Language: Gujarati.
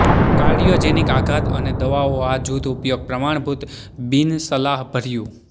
કાર્ડિયોજેનિક આઘાત અને દવાઓ આ જૂથ ઉપયોગ પ્રમાણભૂત બિનસલાહભર્યું